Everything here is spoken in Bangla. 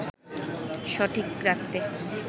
সঠিক রাখতে